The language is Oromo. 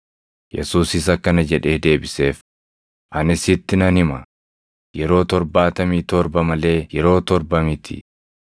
Yesuusis akkana jedhee deebiseef; “Ani sitti nan hima; yeroo torbaatamii torba malee yeroo torba miti.